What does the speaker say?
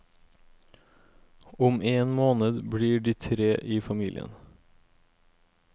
Om en måned blir de tre i familien.